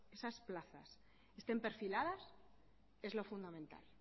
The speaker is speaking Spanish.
esas plazas estén perfiladas es lo fundamental